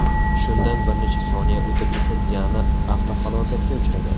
Shundan bir necha soniya o‘tib esa Diana avtohalokatga uchragan.